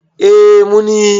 eh mun yi